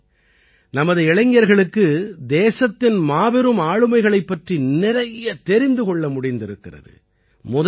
இதிலே நமது இளைஞர்களுக்கு தேசத்தின் மாபெரும் ஆளுமைகளைப் பற்றி நிறைய தெரிந்து கொள்ள முடிந்திருக்கிறது